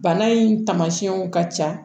Bana in taamasiyɛnw ka ca